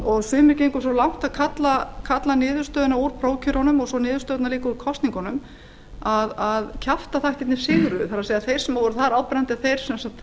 og sumir gengu svo langt að kalla niðurstöðuna úr prófkjörunum og svo niðurstöðurnar líka úr kosningunum að kjaftaþættirnir sigruðu það er þeir sem voru þar áberandi að þeir